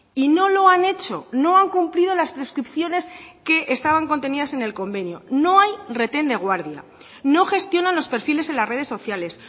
y no lo han hecho no han cumplido las prescripciones que estaban contenidas en el convenio no hay reten de guardia no gestionan los perfiles en las redes sociales